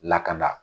Lakana